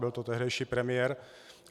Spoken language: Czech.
Byl to tehdejší premiér.